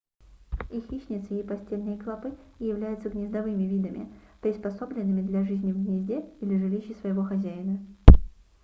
и хищнецы и постельные клопы являются гнездовыми видами приспособленными для жизни в гнезде или жилище своего хозяина